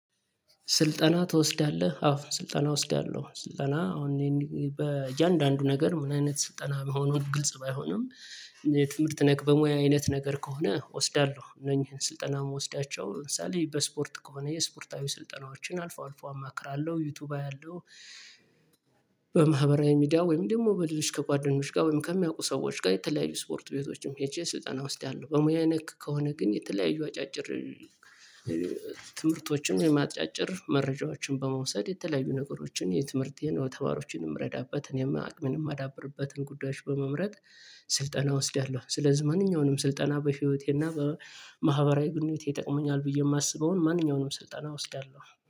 ስልጠና ትወስዳለህ አዎ ስልጠና እወስዳለሁ ስልጠና አሁን በእያንዳንዱ ነገር ምን አይነት ስልጠና መሆኑን ግልጽ ባይሆንም። ትምህርት ነክ በሙያ አይነት ነገር ከሆነ እወስዳለሁ ነኝ ስልጠና የምወስዳቸው ለምሳሌ በስፖርት ከሆነ የስፖርታዊ ስልጠናዎችን አልፎ አልፎ አማክራለሁ ዩቲዩብ አያለሁ። በማህበራዊ ሚዲያ ወይም ደግሞ በልጅ ከጓደኞች ጋር ወይም ከሚያውቁ ሰዎች ጋር የተለያዩ ስፖርት ቤቶችም ሄቼ ስልጠና ወስዳለሁ። በሙያ ነክ ከሆነ ግን የተለያዩ አጫጭር። ትምህርቶችን አጫጭር መረጃዎችን በመውሰድ የተለያዩ ነገሮችን የትምህርቴን ተዋሮችን ምረዳበት አቅሜን ማዳብርበትን ጉዳዮች በመምረጥ። ስልጠና እወስዳሃለሁ ስለዚህ ማንኛውንም ስልጠና በህይወቴና በማህበራዊ ግንኙነቴዐይጠቅመኛል ብዬ ማስበውን ማንኛውንም ስልጠና እወስዳለሁ